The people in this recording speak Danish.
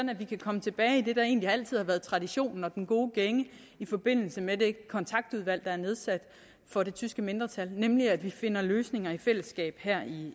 vi kan komme tilbage egentlig altid har været traditionen og den gode gænge i forbindelse med det kontaktudvalg der er nedsat for det tyske mindretal nemlig at vi finder løsninger i fællesskab her i